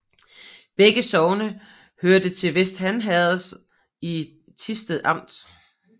Begge sogne hørte til Vester Han Herred i Thisted Amt